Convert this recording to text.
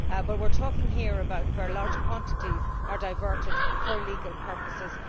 But we are talking here about cases where large quantities are diverted for illegal purposes.